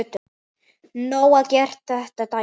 Nóg að gert þennan daginn.